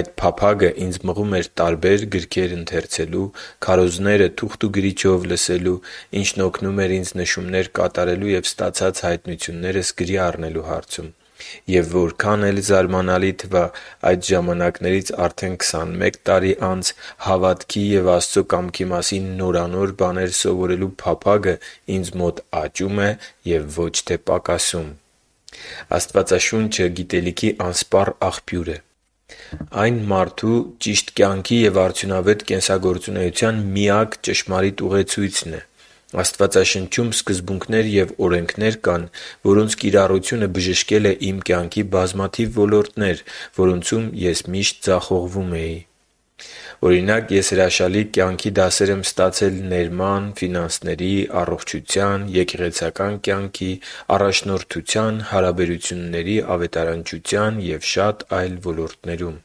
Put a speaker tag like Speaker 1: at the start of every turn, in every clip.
Speaker 1: Այդ փափագը ինձ մղում էր տարբեր գրքեր ընթերցելու, քարոզները թուղթ ու գրիչով լսելու, ինչն օգնում էր ինձ նշումներ կատարելու և ստացած հայտնություններս գրի առնելու հարցում։ Եվ, որքան էլ զարամանալի թվա, այդ ժամանակներից արդեն քսանմեկ տարի անց հավատքի և Աստծո կամքի մասին նորանոր բաներ սովորելու փափագը ինձ մոտ աճում է և ոչ թե պակասում։ Աստվածաշունչը գիտելիքի անսպառ աղբյուր է։ Այն մարդու ճիշտ կյանքի և արդյունավետ կենսագործունեության միակ ճշմարիտ ուղեցույցն է։ Աստվածաշնչում սկզբունքներ և օրենքներ կան, որոնց կիրառությունը բժշկել է իմ կյանքի բազմաթիվ ոլորտներ, որոնցում ես միշտ ձախողվում էի։ Օրինակ, ես հրաշալի կյանքի դասեր եմ ստացել ներման, ֆինանսների, առողջության, եկեղեցական կյանքի, առաջնորդության, հարաբերությունների, ավետարանչության և շատ այլ ոլորտներում։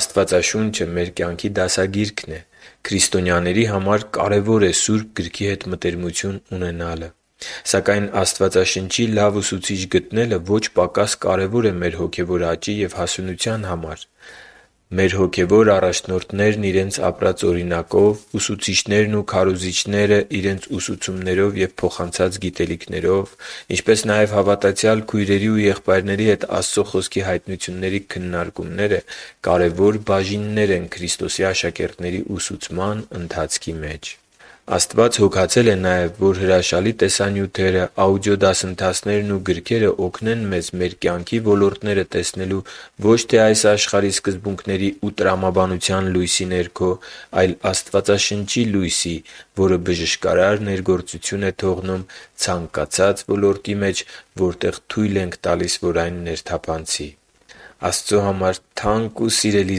Speaker 1: Աստվածաշունչը մեր կյանքի դասագիրքն է։ Կարևոր է քրիստոնյաների Սուրբ Գրքի հետ մտերմություն ունենալը։ Սակայն Աստվածաշնչի լավ ուսուցիչ գտնելը ոչ պակաս կարևոր է մեր հոգևոր աճի և հասունության համար։ Մեր հոգևոր առաջնորդներն իրենց ապրած օրինակով, ուսուցիչներն ու քարոզիչները՝ իրենց ուսուցումներով և փոխանցած գիտելիքով, ինչպես նաև հավատացյալ քույրերի ու եղբայրների հետ Աստծո Խոսքի հայտնությունների քննարկումները կարևոր բաժիններ են Քրիստոսի աշակերտների ուսուցման ընթացքի մեջ։ Աստված հոգացել է նաև, որ հրաշալի տեսանյութերը, աուդիո դասընթացներն ու գրքերը օգնեն մեզ մեր կյանքի ոլորտները տեսնել ոչ թե այս աշխարհի սկզբունքների ու տրամաբանության լույսի ներքո, այլ Աստվածաշնչի լույսի, որը բժշկարար ներգործություն է թողնում ցանկացած ոլորտի մեջ, որտեղ թույլ ենք տալիս, որ այն ներթափանցի։ Աստծո համար թանկ ու սիրելի՛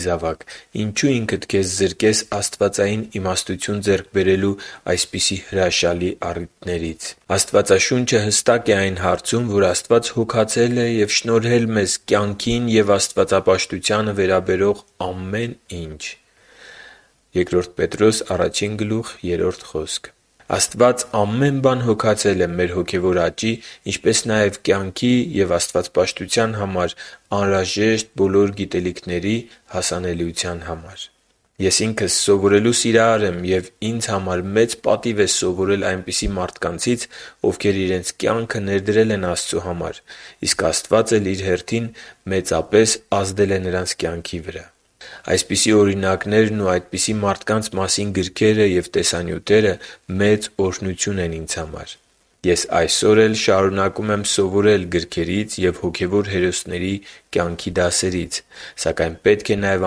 Speaker 1: զավակ, ինչո՞ւ ինքդ քեզ զրկես աստվածային իմաստություն ձեռք բերելու այսպիսի հրաշալի առիթներից։ Աստվածաշունչը հստակ է այն հարցում, որ Աստված հոգացել է և շնորհել մեզ « կյանքին և աստվածապաշտությանը վերաբերող ամեն ինչ․․․» (Բ Պետրոս 1․3)։ Աստված ամեն բան հոգացել է մեր հոգևոր աճի, ինչպես նաև կյանքի ու աստվածապաշտության համար անհրաժեշտ բոլոր գիտելիքների հասանելիության համար։ Ես ինքս սովորելու սիրահար եմ, և ինձ համար մեծ պատիվ է սովորել այնպիսի մարդկանցից, ովքեր իրենց կյանքը ներդրել են Աստծո համար, իսկ Աստված էլ Իր հերթին մեծապես ազդել է նրանց կյանքի վրա։ Այսպիսի օրինակներն ու նրանց մասին գրքերը և տեսանյութերը մե՜ծ օրհնություն են ինձ համար։ Ես այսօր էլ շարունակում եմ սովորել գրքերից ու հոգևոր հերոսների կյանքի դասերից։ Սակայն պետք է նաև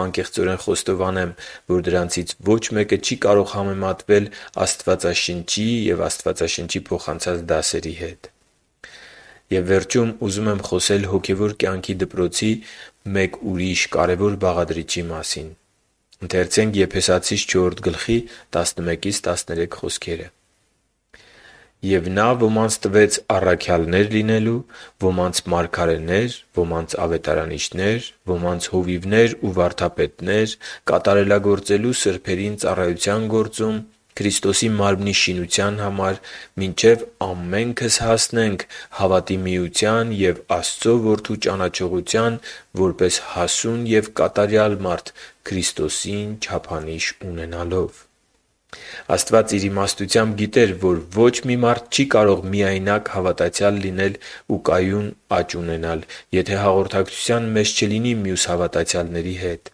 Speaker 1: անկեղծորեն խոստովանեմ, որ դրանցից ոչ մեկը չի կարող համեմատվել Աստվածաշնչի և Աստվածաշնչի փոխանցած դասերի հետ։ Եվ վերջում ուզում եմ խոսել հոգևոր կյանքի դպրոցի մեկ ուրիշ կարևոր բաղադրիչի մասին. «Եվ Նա ոմանց տվեց առաքյալներ լինելու, ոմանց՝ մարգարեներ, ոմանց՝ ավետարանիչներ, ոմանց՝ հովիվներ ու վարդապետներ՝ կատարելագործելու սրբերին ծառայության գործում՝ Քրիստոսի մարմնի շինության համար, մինչև ամենքս հասնենք հավատի միության և Աստծու Որդու ճանաչողության՝ որպես հասուն և կատարյալ մարդ Քրիստոսին չափանիշ ունենալով» (Եփեսացիս 4.11-13)։ Աստված Իր իմաստությամբ գիտեր, որ ոչ մի մարդ չի կարող միայնակ հավատացյալ լինել ու կայուն աճ ունենալ, եթե հաղորդակցության մեջ չլինի մյուս հավատացյալների հետ։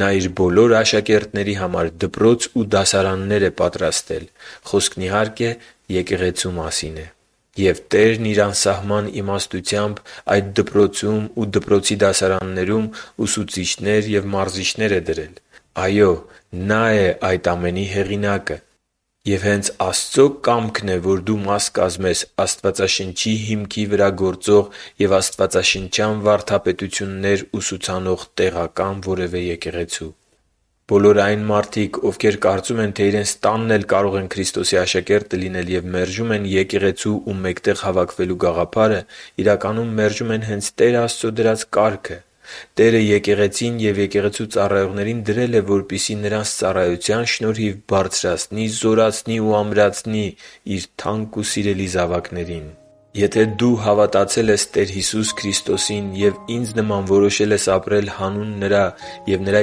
Speaker 1: Նա Իր բոլոր աշակերտների համար դպրոց ու դասարաններ է պատրաստել։ Խոսքն, իհարկե, Եկեղեցու մասին է։ Եվ Տերն Իր անսահման իմաստությամբ այդ դպրոցում ու դպրոցի դասարաններում ուսուցիչներ և մարզիչներ է դրել։ Այո՛ Նա՛ է այդ ամենի հեղինակը, և հենց Աստծո կամքն է, որ դու մաս կազմես Աստվածաշնչի հիմքի վրա գործող և ուսուցանող տեղական որևէ եկեղեցու։ Բոլոր այն մարդիկ, ովքեր կարծում են, թե իրենց տանն էլ կարող են Քրիստոսի աշակերտը լինել և մերժում են եկեղեցու ու մեկտեղ հավաքվելու գաղափարը, իրականում, մերժում են հե՛նց Տեր Աստծո դրած կարգը։ Տերը Եկեղեցին և եկեղեցու ծառայողներին դրել է, որպեսզի նրանց ծառայության շնորհիվ բարձրացնի, զորացնի ու ամրացնի Իր թանկ ու սիրելի զավակներին։ Եթե դու հավատացել ես Տեր Հիսուսի Քրիստոսին և ինձ նման որոշել ես ապրել հանուն Նրա և Նրա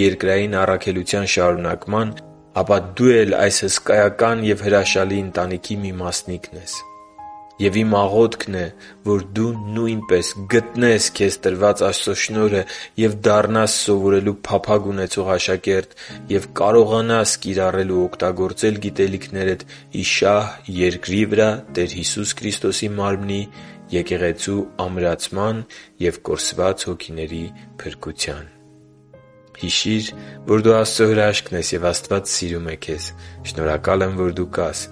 Speaker 1: երկրային առաքելության շարունակման, ապա դու էլ այս հսկայական և հրաշալի ընտանիքի մի մասնիկն ես։ Եվ իմ աղոթքն է, որ դու, նույնպես, գտնե՛ս քեզ տրված Աստծո շնորհը, դառնաս սովորելու փափագ ունեցող աշակերտ և կարողանաս կիրառել ու օգտագործել գիտելիքներդ ի շահ երկրի վրա Տեր Հիսուս Քրիստոսի Մարմնի՝ Եկեղեցու ամրացման և կորսված հոգիների փրկության։ Հիշի՛ր, որ դու Աստծո հրաշքն ես, և Աստված սիրում է քեզ։ Շնորհակալ եմ, որ դու կա՛ս։